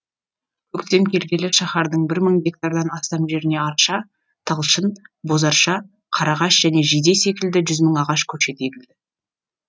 көктем келгелі шаһардың бір мың гектардан астам жеріне арша талшын бозарша қарағаш және жиде секілді жүз мың ағаш көшеті егілді